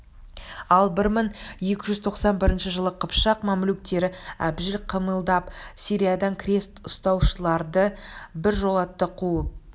ал бір мың екі жүз тоқсан бірінші жылы қыпшақ мамлюктері әбжіл қимылдап сириядан крест ұстаушыларды бір жолата қуып